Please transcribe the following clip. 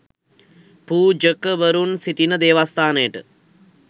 පූජකවරුන් සිටින දේවස්ථානයට